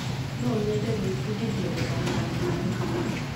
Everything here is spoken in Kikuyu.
Nonyende gũifundithia gũthaka nyĩmbo